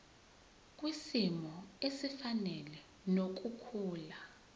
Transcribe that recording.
kwisimo esifanele nokukhula